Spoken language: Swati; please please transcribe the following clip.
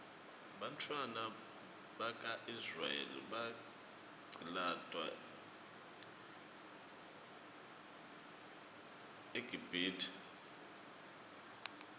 bantfwana baka israel baqcilatwa eqibhitue